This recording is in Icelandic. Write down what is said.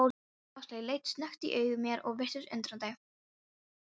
Áslaug leit snöggt í augu mér og virtist undrandi.